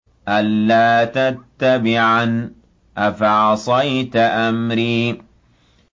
أَلَّا تَتَّبِعَنِ ۖ أَفَعَصَيْتَ أَمْرِي